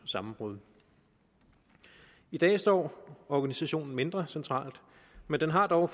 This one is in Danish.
sammenbrud i dag står organisationen mindre centralt men har dog